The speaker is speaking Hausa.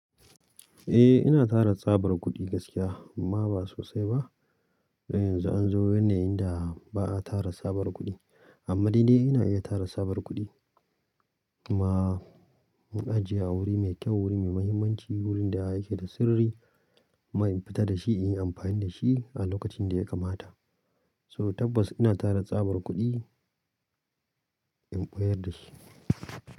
Eh ina tara tsabar kuɗi gaskiya amma ba sosai ba. Don yanzu an zo wannan inda ba a tara tsabar kuɗi. Amma ni dai ina iya tara tsabar kuɗi kuma in ajiye a wuri mai kyau, wuri mai muhimmanci, wurin da yake da sirri, mai fita da shi in yi amfani da shi a lokacin da ya kamata. So tabbas ina tara tsabar kuɗi, in ɓayar da shi.